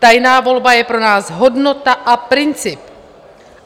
Tajná volba je pro nás hodnota a princip.